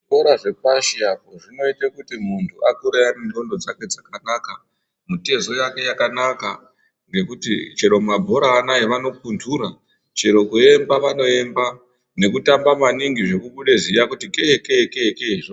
Zvikora zvepashi apo zvinoite kuti muntu akure ane ndxondo dzake dzakanaka, mutezo yake yakanaka nekuti chero mabhora anaya vanopundura. Chero kuemba vanoemba nekutamba maningi zvekubuda ziya kutike-ekee-ke-zvo.